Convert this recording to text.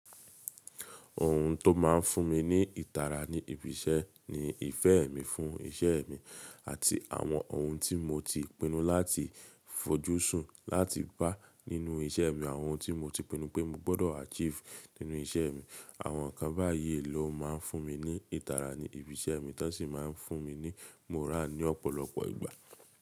Òhun tó máa ń fún mi ní ìtara ní ibi iṣẹ́ ni ìfẹ́ mi fún iṣẹ́ mi àti àwọn ohun tí mo ti pinnu láti fojúsùn láti bá nínu iṣẹ́ mi. Àwọn ohun tí mo ti pinnu pé mo gbọ́dọ̀ achieve nínú iṣẹ́ mi. Àwọn ǹkan báyìí ló má ń fún mi ní ìtara ní ibi iṣẹ́ mi tó sì máa ń fún mi ní moral ní ọ̀pọ̀lọpọ̀ ìgbà.